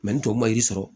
ni tɔw ma yir'i sɔrɔ